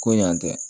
Ko yan tɛ